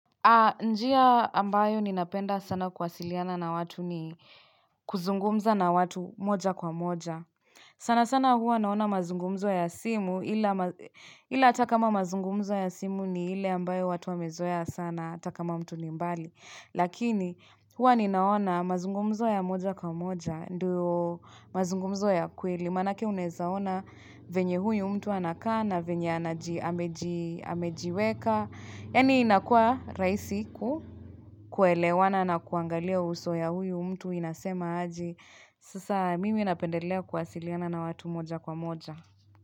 Njia ambayo ninapenda sana kwasiliana na watu ni kuzungumza na watu moja kwa moja. Sana sana huwa naona mazungumzo ya simu ila ila atakama mazungumzo ya simu ni ile ambayo watu wamezoea sana atakama mtu nimbali. Lakini huwa ninaona mazungumzo ya moja kwa moja ndio mazungumzo ya kweli. Lima nake unezaona venye huyu mtu anakaa na venye anaji amejiweka. Yani inakua raisiku kuelewana na kuangalia uso ya huyu mtu inasema aje Sasa mimi inapendelea kwasiliana na watu moja kwa moja.